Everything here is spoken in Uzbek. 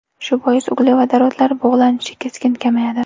Shu bois uglevodorodlar bug‘lanishi keskin kamayadi.